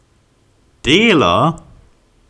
Delo?